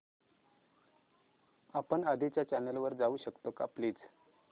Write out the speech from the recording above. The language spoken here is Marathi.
आपण आधीच्या चॅनल वर जाऊ शकतो का प्लीज